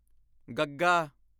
ਗ਼ੱਗ਼ਾ